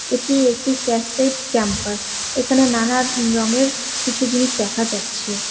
এটি একটি ক্যাসেড ক্যাম্পাস এখানে নানা রঙের কিছু জিনিস দেখা যাচ্ছে।